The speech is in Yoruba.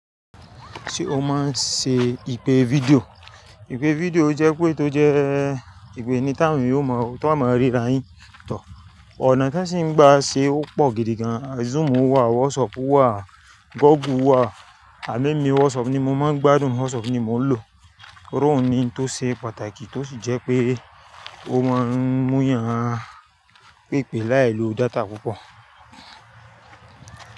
Ṣé o máa ń ṣe ìpè fídíò? Ìpè fídíò jẹ́ ipé tó jẹ́ ìpè ni táwoń ò mọ, tón máa ríra yín tó. Ọ̀nà tan sì ń gbà ṣe ó pọ̀ gidi gan. Zoom wà, WhatsApp wà, Google wà. Àmo emí WhatsApp ni mo máa ń gbádùn, WhatsApp ni mò ń lò. Torí òhun ni ntó ṣe pàtàkì tó sì jẹ́ pé ó máa ń mú yàn pèpè láì lo data púpọ̀